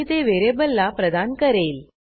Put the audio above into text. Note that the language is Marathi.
आणि ते व्हेरिएबलला प्रदान करेल